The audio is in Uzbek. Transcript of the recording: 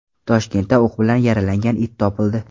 Toshkentda o‘q bilan yaralangan it topildi.